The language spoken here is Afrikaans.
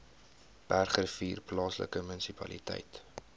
bergrivier plaaslike munisipaliteit